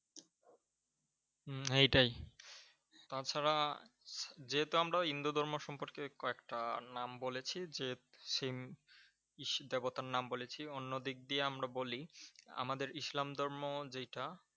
হম হেইটাই, তাছাড়া যেহেতু আমরা হিন্দু ধর্ম সম্পর্কে কয়েকটা নাম বলেছি যে সেই গীতা নাম বলেছি। অন্য দিক দিয়ে আমরা বলি আমাদের ইসলাম ধর্ম যেইটা